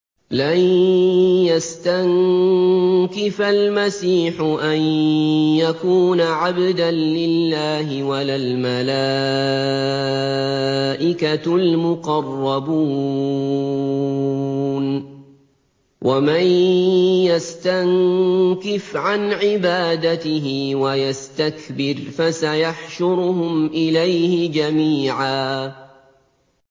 لَّن يَسْتَنكِفَ الْمَسِيحُ أَن يَكُونَ عَبْدًا لِّلَّهِ وَلَا الْمَلَائِكَةُ الْمُقَرَّبُونَ ۚ وَمَن يَسْتَنكِفْ عَنْ عِبَادَتِهِ وَيَسْتَكْبِرْ فَسَيَحْشُرُهُمْ إِلَيْهِ جَمِيعًا